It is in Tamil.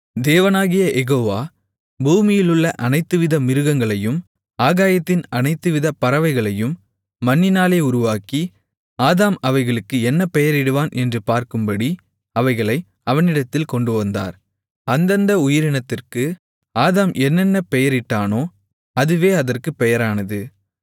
தேவனாகிய யெகோவா பூமியிலுள்ள அனைத்துவித மிருகங்களையும் ஆகாயத்தின் அனைத்துவிதப் பறவைகளையும் மண்ணினாலே உருவாக்கி ஆதாம் அவைகளுக்கு என்ன பெயரிடுவான் என்று பார்க்கும்படி அவைகளை அவனிடத்தில் கொண்டுவந்தார் அந்தந்த உயிரினத்திற்கு ஆதாம் என்னென்ன பெயரிட்டானோ அதுவே அதற்குப் பெயரானது